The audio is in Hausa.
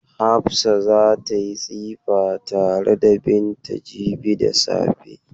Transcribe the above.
Hafsa za ta yi tsifa tare da Binta jibi da safe.